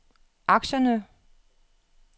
aktierne